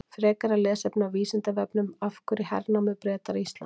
Frekara lesefni á Vísindavefnum: Af hverju hernámu Bretar Ísland?